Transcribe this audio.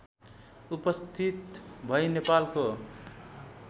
उपस्थित भै नेपालको